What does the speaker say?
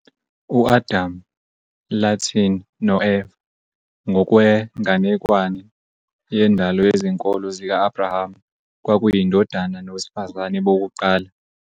UAdam, Latin no-Eva, ngokwenganekwane yendalo yezinkolo zika-Abrahama, kwakuyindoda nowesifazane bokuqala.